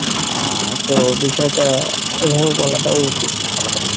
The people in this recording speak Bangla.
আহ তো বিষয়টা ওভাবে বলাটা উচিত না